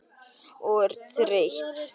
Og þreytt.